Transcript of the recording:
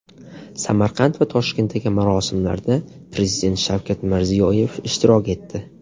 Samarqand va Toshkentdagi marosimlarda Prezident Shavkat Mirziyoyev ishtirok etdi.